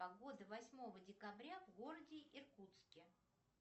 погода восьмого декабря в городе иркутске